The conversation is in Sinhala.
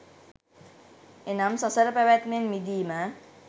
එනම් සසර පැවැත්මෙන් මිදීම